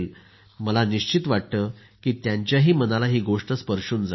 मला निश्चित वाटतं की त्यांच्याही मनाला ही गोष्ट स्पर्शून जाईल